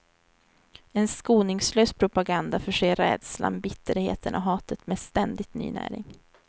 En skoningslös propaganda förser rädslan, bitterheten och hatet med ständigt ny näring.